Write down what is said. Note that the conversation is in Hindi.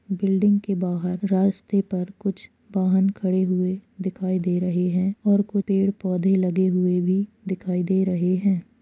बिल्डिंग के बाहर रास्ते पर कुछ वाहन खड़े हुए दिखाई दे रहे हैं और कु पेड़ पौधे-लगे हुए भी दिखाई दे रहे हैं।